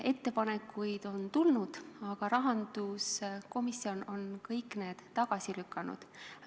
Ettepanekuid on tulnud, aga rahanduskomisjon on kõik need tagasi lükanud.